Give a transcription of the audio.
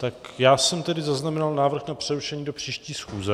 Tak já jsem tady zaznamenal návrh na přerušení do příští schůze.